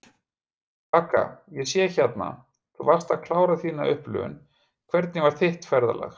Vaka: Ég sé hérna, þú varst að klára þína upplifun, hvernig var þitt ferðalag?